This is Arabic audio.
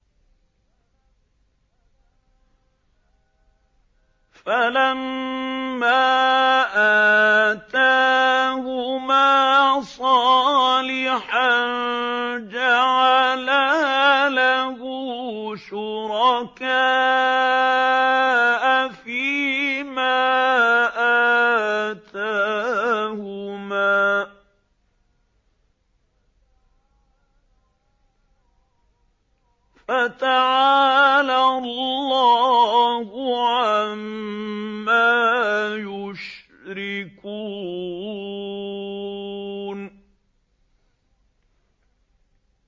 فَلَمَّا آتَاهُمَا صَالِحًا جَعَلَا لَهُ شُرَكَاءَ فِيمَا آتَاهُمَا ۚ فَتَعَالَى اللَّهُ عَمَّا يُشْرِكُونَ